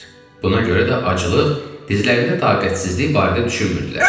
Buna görə də aclıq, dizlərində taqətsizlik barədə düşünmürdülər.